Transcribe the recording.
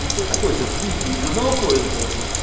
ну человек хочет выйти из одного поезда